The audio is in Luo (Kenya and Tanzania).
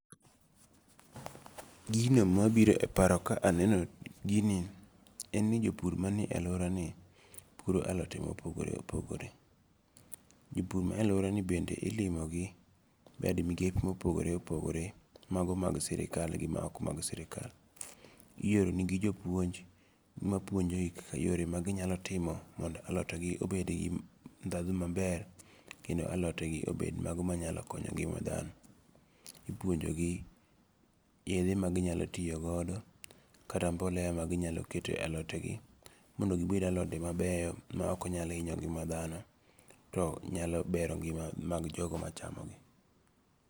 Gino ma biro e paro ka aneno gini, en ni jopur manie aluorani puro alote ma opogore opogore, jopur manie aluorani bende ilimo gi bad migepe ma opogore opogore, mago mag sirikal gi mago ma ok mag sirikal, oyorenegi japuonj mapuonjogi kaka yore maginyalo timo mondo alotegi obed gi thatho maber kendo alotegi obed mago manyalo konyo ngi'ma thano, ipuonjogi yethe maginyalo tiyogodo kata mbolea ma ginyalo keto e alotegi mondo gibed alode mabeyo ma ok nyal hinyo ngi'ma thano, to nyalo bero ngi'ma mag jogo machamogi.